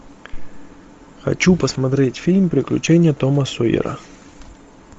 хочу посмотреть фильм приключения тома сойера